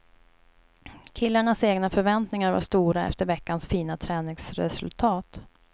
Killarnas egna förväntningar var stora efter veckans fina träningsresultat.